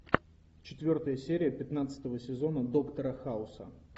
четвертая серия пятнадцатого сезона доктора хауса